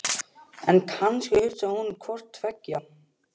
En kannski hugsaði hún hvort tveggja.